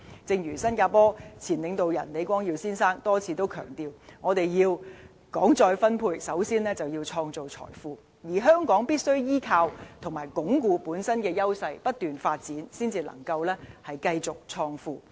正如新加坡前領導人李光耀先生多次強調，要談再分配，首先要創造財富，而香港必須依靠和鞏固本身的優勢，不斷發展，才能繼續創富。